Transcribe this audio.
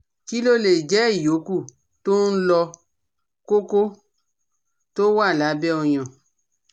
Kí ló lè jẹ́ ìyókù tó ń lọ koko tó wà lábẹ́ oyan?